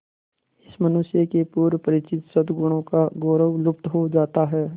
इस मनुष्य के पूर्व परिचित सदगुणों का गौरव लुप्त हो जाता है